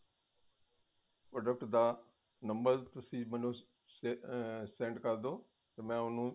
product ਦਾ number ਤੁਸੀਂ ਮੈਨੂ ਅਹ send ਕਰਦੋ ਤੇ ਮੈਂ ਉਹਨੂੰ